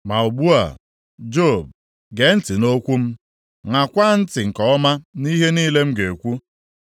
“Ma ugbu a, Job, gee ntị nʼokwu m; ṅaakwa ntị nke ọma nʼihe niile m ga-ekwu.